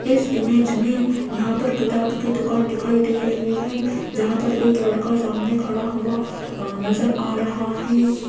इस इमेज में यहां पर किताब की दुकान दिखाई दे रही है जहां पर एक लड़का सामने खड़ा हुआ नजर आ रहा है।